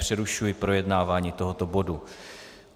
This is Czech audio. Přerušuji projednávání tohoto bodu.